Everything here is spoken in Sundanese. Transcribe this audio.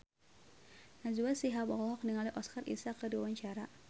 Najwa Shihab olohok ningali Oscar Isaac keur diwawancara